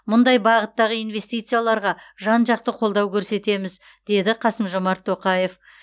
мұндай бағыттағы инвестицияларға жан жақты қолдау көрсетеміз деді қасым жомарт тоқаев